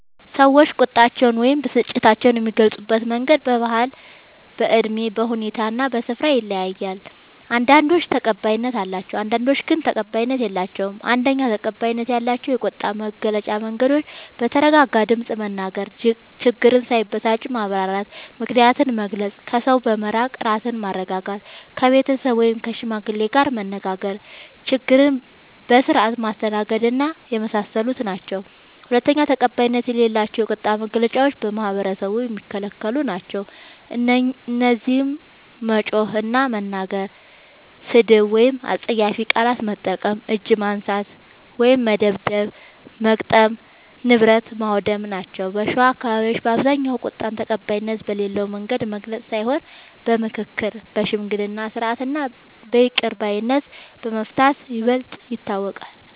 ሰዎች ቁጣቸውን ወይም ብስጭታቸውን የሚገልጹበት መንገድ በባህል፣ በእድሜ፣ በሁኔታ እና በስፍራ ይለያያል። አንዳንዶቹ ተቀባይነት አላቸው፣ አንዳንዶቹ ግን ተቀባይነት የላቸዉም። ፩. ተቀባይነት ያላቸው የቁጣ መግለጫ መንገዶች፦ በተረጋጋ ድምፅ መናገር፣ ችግርን ሳይጨቃጨቁ ማብራራት፣ ምክንያትን መግለጽ፣ ከሰው በመራቅ ራስን ማረጋጋት፣ ከቤተሰብ ወይም ከሽማግሌ ጋር መነጋገር፣ ችግርን በስርዓት ማስተናገድና የመሳሰሉት ናቸዉ። ፪. ተቀባይነት የሌላቸው የቁጣ መግለጫዎች በማህበረሰቡ የሚከለክሉ ናቸዉ። እነዚህም መጮህ እና መናገር፣ ስድብ ወይም አስጸያፊ ቃላት መጠቀም፣ እጅ ማንሳት (መደብደብ/መግጠም) ፣ ንብረት ማዉደም ናቸዉ። በሸዋ አካባቢዎች በአብዛኛዉ ቁጣን ተቀባይነት በሌለዉ መንገድ መግለጽ ሳይሆን በምክክር፣ በሽምግልና ስርዓት እና በይቅር ባይነት በመፍታት ይበልጥ ይታወቃል።